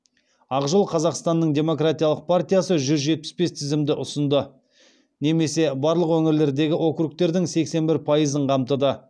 ақ жол қазақстанның демократиялық партиясы жүз жетпіс бес тізімді ұсынды немесе барлық өңірлердегі округтердің сексен бір пайызын қамтыды